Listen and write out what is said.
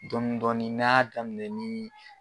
Dɔn dɔɔnin n'a' y'a daminɛ nii